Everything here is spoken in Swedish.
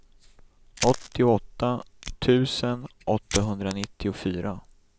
åttioåtta tusen åttahundranittiofyra